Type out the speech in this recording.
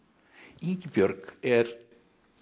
Ingibjörg er